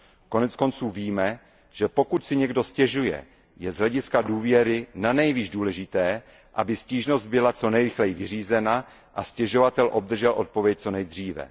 Koneckonců víme, že pokud si někdo stěžuje, je z hlediska důvěry nanejvýš důležité, aby stížnost byla co nejrychleji vyřízena a stěžovatel obdržel odpověď co nejdříve.